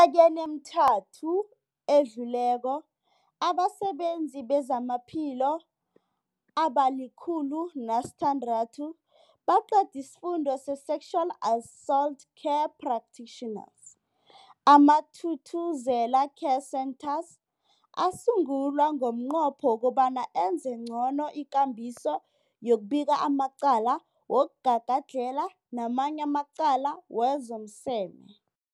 Eminyakeni emithathu edluleko, abasebenzi bezamaphilo abali-106 baqede isiFundo se-Sexual Assault Care Practitioners. AmaThuthuzela Care Centres asungulwa ngomnqopho wokobana enze ngcono ikambiso yokubika amacala wokugagadlhela namanye amacala wezomseme.